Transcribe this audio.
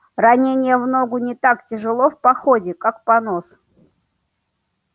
ранение не в ногу не так тяжело в походе как понос